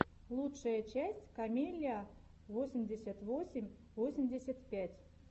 лучшая часть камеллиа восемьдесят восемь восемьдесят пять